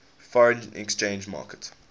foreign exchange market